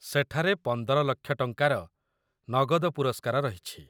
ସେଠାରେ ୧୫,୦୦,୦୦୦/- ଟଙ୍କାର ନଗଦ ପୁରସ୍କାର ରହିଛି।